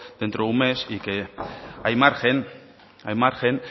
dentro de un mes y hay margen hay margen